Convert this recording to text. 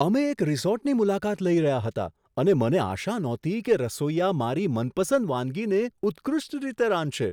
અમે એક રિસોર્ટની મુલાકાત લઈ રહ્યા હતા અને મને આશા નહોતી કે રસોઈયા મારી મનપસંદ વાનગીને ઉત્કૃષ્ટ રીતે રાંધશે.